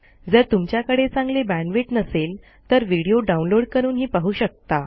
जर तुमच्याकडे चांगली बॅण्डविड्थ नसेल तर व्हिडिओ डाउनलोड करूनही पाहू शकता